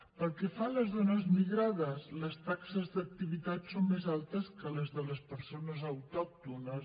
pel que fa a les dones migrades les taxes d’activitat són més altes que les de les persones autòctones